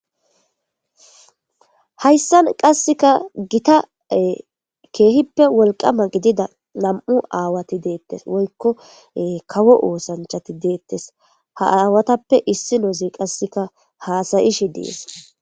hayssan qasseka gita keehippe wolqama gidida nam7u aawati deettes woykko kawo oosanchati deettes ha aawatappe issi noozi qasseka haasayishi dees